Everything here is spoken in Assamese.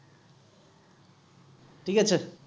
ঠিক আছে